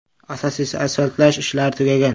Asosiy asfaltlash ishlari tugagan.